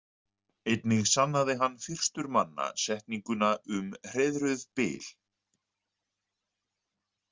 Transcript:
Einnig sannaði hann fyrstur manna setninguna um hreiðruð bil.